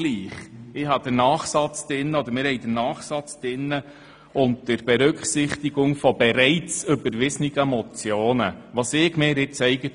Wir haben den Nachsatz drin, dass bereits überwiesene Motionen berücksichtigt werden sollen.